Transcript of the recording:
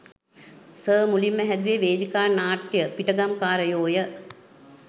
Sir මුලින්ම හැදුව වේදිකා නාට්‍යය පිටගම්කාරයෝ ය.